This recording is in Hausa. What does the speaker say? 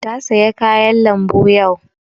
Ta saya kayan lambu yau